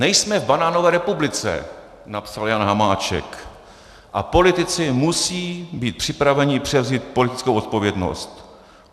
Nejsme v banánové republice," napsal Jan Hamáček, "a politici musí být připraveni převzít politickou odpovědnost.